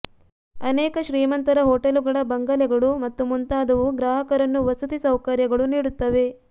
ಅನೇಕ ಶ್ರೀಮಂತರ ಹೊಟೆಲುಗಳ ಬಂಗಲೆಗಳು ಮತ್ತು ಮುಂತಾದವು ಗ್ರಾಹಕರನ್ನು ವಸತಿ ಸೌಕರ್ಯಗಳು ನೀಡುತ್ತವೆ